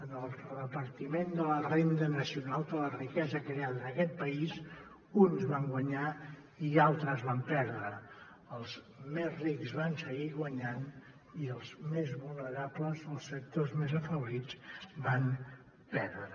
en el repartiment de la renda nacional de la riquesa creada en aquest país uns van guanyar i altres van perdre els més rics van seguir guanyant i els més vulnerables els sectors més afeblits van perdre